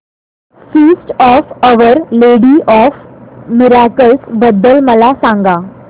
feast of our lady of miracles बद्दल मला सांगा